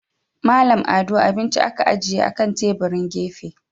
Mallam Ado abinci aka ajiye akan tebirin gefe.